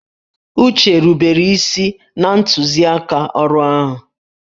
Uche rubere isi na ntuziaka ọrụ ahụ